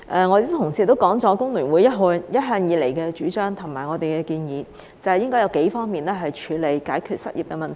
我的同事亦提到工聯會一向以來的主張和建議，即應該從數方面處理及解決失業問題。